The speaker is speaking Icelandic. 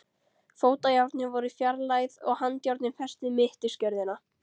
Fótajárnin voru fjarlægð og handjárnin fest við mittisgjörðina.